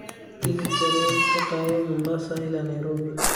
tigidh tareen ka qaado mombasa ilaa nairobi